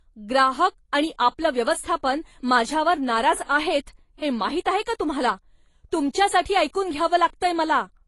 ग्राहक आणि आपलं व्यवस्थापन माझ्यावर नाराज आहेत हे माहीत आहे का तुम्हाला? तुमच्यासाठी ऐकून घ्यावं लागतंय मला.